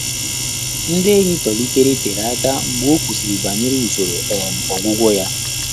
Ndị́ ényì tòlìtèrè térè áká mgbè ọ́ kwùsị́rị̀ bànyèrè ùsòrò um ọ́gwụ́gwọ́ yá.